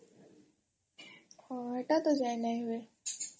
ହଁ ହେଟା ତ ଯାଇ ନାଇଁ ହୁଏ